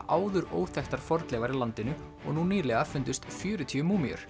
áður óþekktar fornleifar í landinu og nú nýlega fundust fjörutíu